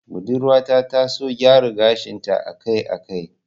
Budurwa ta ta son gyara gashin ta a kai a kai